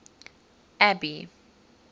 abby